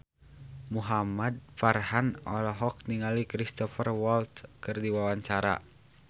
Muhamad Farhan olohok ningali Cristhoper Waltz keur diwawancara